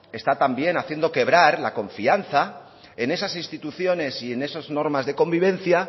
está también haciendo quebrar la confianza en esas instituciones y en esas normas de convivencia